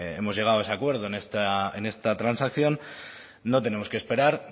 hemos llegado a ese acuerdo en esta transacción no tenemos que esperar